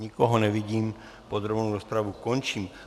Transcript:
Nikoho nevidím, podrobnou rozpravu končím.